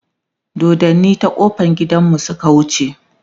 doddani ta ƙofan gidanmu Suka wuce